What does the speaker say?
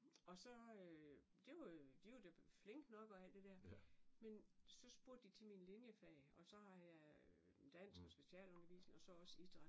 Og så det var jo og de var da flinke nok og alt det der og så spurgte de til mine linjefag og så har jeg dansk og specialundervisning og så har jeg også idræt